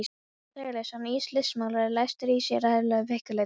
Jón Þorleifsson listmálari lætur í sér heyra, vill fígúratíva list.